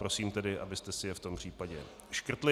Prosím tedy, abyste si je v tom případě škrtli.